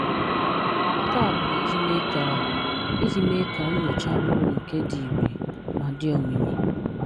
Nke a bụ ijị mee ka ijị mee ka nnyocha bụrụ nke di ìre ma di omimi